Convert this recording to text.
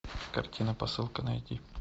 картина посылка найди